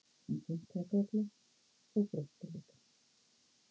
Hún kinkaði kolli og brosti líka.